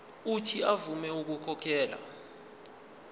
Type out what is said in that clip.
uuthi avume ukukhokhela